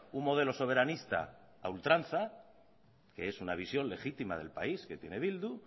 un modelo soberanista a ultranza que es una visión legitima del país que tiene bildu